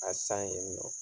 A san yen nɔ